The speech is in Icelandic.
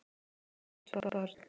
Þú með tvö börn!